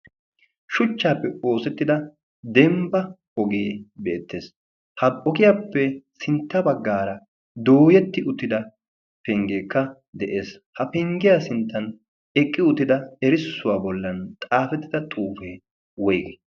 shuchchan oosettida dembba ogee beetees. ha ogiyappe sintta bagaara dooyeti utida pengee de'ees. ha penggiyappe sinta bagaata eqida errisuwaa xifatee woygii?